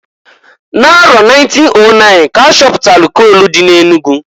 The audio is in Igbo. N'arọ 1909 k'a chapụtalụ kol dị n'Enugu.